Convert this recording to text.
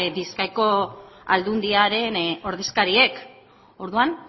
bizkaiko aldundiaren ordezkariek orduan